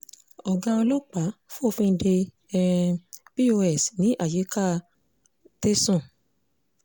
ọ̀gá ọlọ́pàá fòfin de um pos ní àyíká tésàn